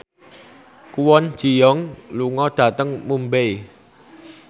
Kwon Ji Yong lunga dhateng Mumbai